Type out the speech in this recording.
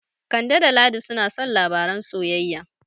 Kande da Ladi suna son labaran soyayya.